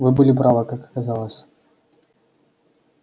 вы были правы как оказалось